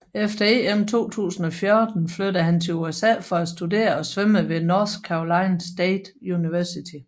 Efter EM 2014 flyttede han til USA for at studere og svømme ved North Carolina State University